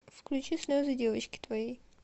включи слезы девочки твоей